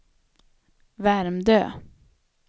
Värmdö